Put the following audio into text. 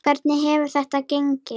Hvernig hefur þetta gengið?